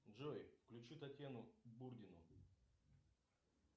джой включи татьяну бурдину